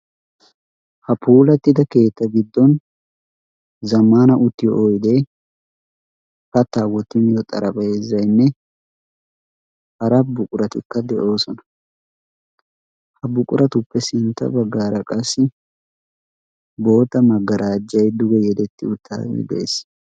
ha puulattida keetta biddon zamana uttiyo oidee pattaa woti miyo xarabeezainne hara buquratikka de7oosona ha buquratuppe sintta baggaara qassi boota maggaraajjai duge yedetti uttaage dees